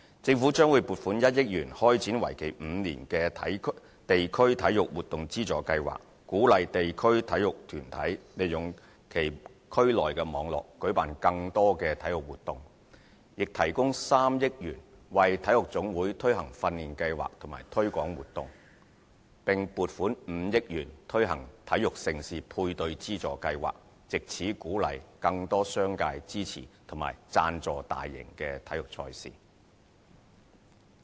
政府將會撥款1億元開展為期5年的地區體育活動資助計劃，鼓勵地區體育團體利用其區內網絡舉辦更多體育活動，亦提供3億元為體育總會推行訓練計劃和推廣活動，並撥款5億元推行體育盛事配對資助計劃，藉此鼓勵更多商界支持和贊助大型體育賽事。